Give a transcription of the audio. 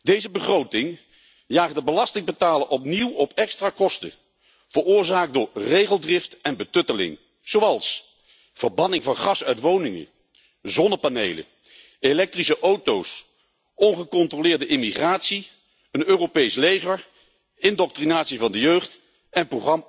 Deze begroting jaagt de belastingbetaler opnieuw op extra kosten, veroorzaakt door regeldrift en betutteling, zoals verbanning van gas uit woningen, zonnepanelen, elektrische auto's, ongecontroleerde immigratie, een Europees leger, indoctrinatie van de jeugd en